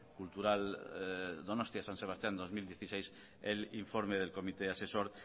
cultural donostia san sebastián dos mil dieciséis el informe del comité asesor